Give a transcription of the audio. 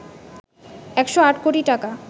১০৮ কোটি টাকা